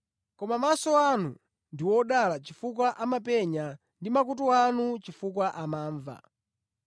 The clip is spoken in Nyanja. Koma maso anu ndi odala chifukwa amapenya ndi makutu anu chifukwa amamva.